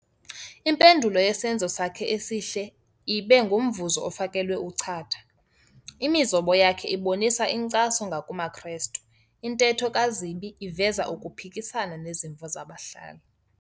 Impendulo yesenzo sakhe esihle ibe ngumvuzo ofakelwe uchatha. imizobo yakhe ibonisa inkcaso ngakumaKrestu, intetho kaZibi iveza ukuphikisana nezimvo zabahlali.